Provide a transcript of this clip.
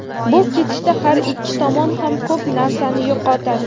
bu ketishda har ikki tomon ham ko‘p narsani yo‘qotadi.